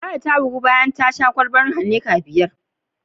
Ladi ta bugu bayan ta sha kwalban Heineken biyar.